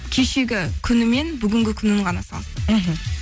кешегі күні мен бүгінгі күнін ғана салыстырамыз мхм